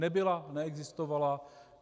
Nebyla, neexistovala.